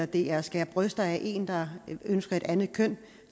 det er at skære bryster af en der ønsker et andet køn